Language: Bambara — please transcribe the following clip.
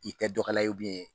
I tɛ dɔkɛla ye